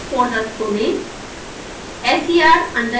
step test folder खोलें